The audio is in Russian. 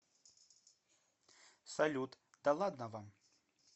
салют да ладно вам